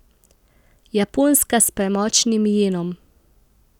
Japonska s premočnim jenom.